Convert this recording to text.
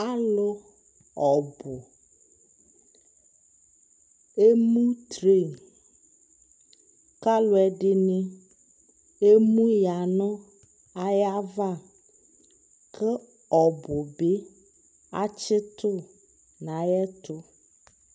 alʋ ɔbʋ ɛmʋ train kʋ alʋɛdini ɛmʋ yanʋayiava kʋ ɔbʋ bi atsitʋ nʋ ayɛtʋ